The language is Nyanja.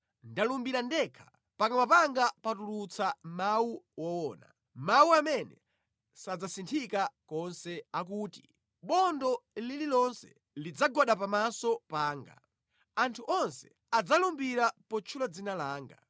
Ndalumbira ndekha, pakamwa panga patulutsa mawu owona, mawu amene sadzasinthika konse akuti, bondo lililonse lidzagwada pamaso panga; anthu onse adzalumbira potchula dzina langa.